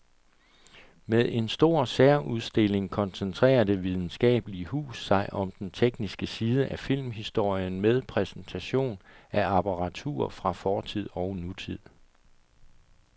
Med en stor særudstilling koncentrerer det videnskabelige hus sig om den tekniske side af filmhistorien med præsentation af apparatur fra fortid og nutid.